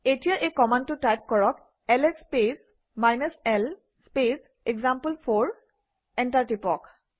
এতিয়া এই কমাণ্ডটো টাইপ কৰক - LS space l space example four enter টিপক